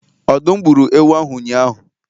Ọdụm gburu ewu ahụ ụnyahụ